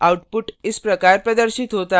output इस तरह प्रदर्शित होता है